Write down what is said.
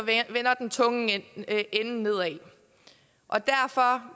vender den tunge ende nedad